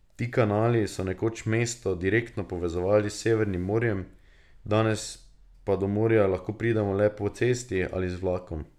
Ti kanali so nekoč mesto direktno povezovali s Severnim morjem, danes pa do morja lahko pridemo le po cesti ali z vlakom.